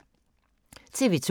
TV 2